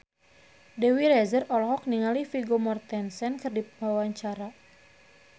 Dewi Rezer olohok ningali Vigo Mortensen keur diwawancara